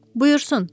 Buyursun,